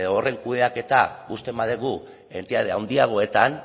horren kudeaketa ustez badugu entitate handiagoetan